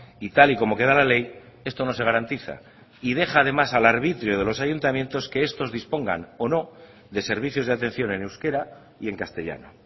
y tal y como queda la ley esto no se garantiza y deja además al arbitrio de los ayuntamientos que estos dispongan o no de servicios de atención en euskera y en castellano